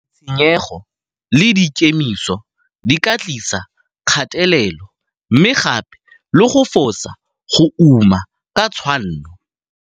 Ditshenyego le dikemiso di ka tlisa kgatelelo mme gape le go fosa go uma ka tshwanno.